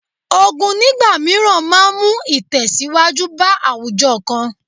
Ogun nígbà mìíràn máa mú ìtẹ̀síwájú bá àwùjọ kan